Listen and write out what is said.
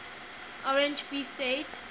orange free state